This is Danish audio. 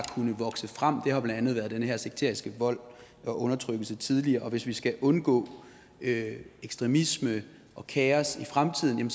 kunnet vokse frem blandt andet har været den her sekteriske vold og undertrykkelse tidligere hvis vi skal undgå ekstremisme og kaos i fremtiden